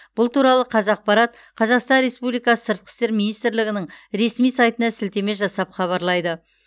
бұл туралы қазақпарат қазақстан республикасы сыртқы істер министрлігінің ресми сайтына сілтеме жасап хабарлайды